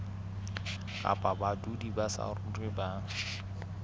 kapa badudi ba saruri ba